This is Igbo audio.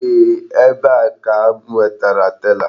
Eeh, ebe a ka m wetara tela.